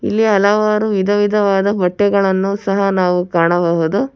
ಇಲ್ಲಿ ಹಲವಾರು ವಿಧವಿಧವಾದ ಬಟ್ಟೆಗಳನ್ನು ಸಹ ನಾವು ಕಾಣಬಹುದು.